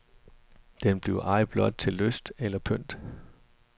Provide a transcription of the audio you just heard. Den bliver ej blot til lyst eller pynt.